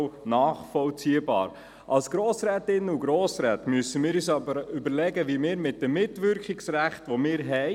Wenn wir mit den Geschäften der BVE, der VOL und der ERZ fertig wären und die POM Zeit hätte, würden die Geschäfte der POM morgen Abend weitergeführt.